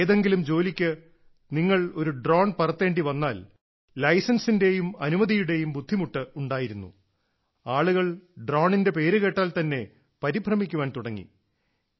ഏതെങ്കിലും ജോലിക്ക് നിങ്ങൾ ഒരു ഡ്രോൺ പറത്തേണ്ടിവന്നാൽ ലൈസൻസിന്റെയും അനുമതിയുടേയും ബുദ്ധിമുട്ട് ഉണ്ടായിരുന്നു ആളുകൾ ഡ്രോണിന്റെ പേര് കേട്ടാൽ തന്നെ പരിഭ്രമിക്കാൻ തുടങ്ങി